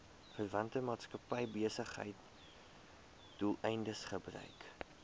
verwante maatskappybesigheidsdoeleindes gebruik